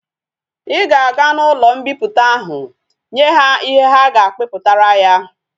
I ga aga na ulo mkpiputa ahu nye ha ihe ha ga akpiputara ya!